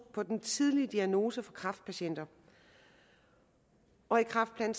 på den tidlige diagnose for kræftpatienter og i kræftplan